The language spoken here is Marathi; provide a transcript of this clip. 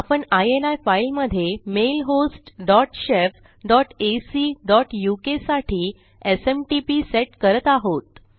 आपण इनी फाईलमधे mail host dot shef dot ac dot uk साठी एसएमटीपी सेट करत आहोत